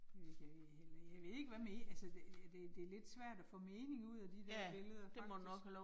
Det ved jeg heller ikke, jeg ved ikke hvad mere, altså det det det lidt svært at få mening ud af de der billeder faktisk